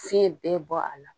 Fiɲɛ bɛɛ bɔ a la.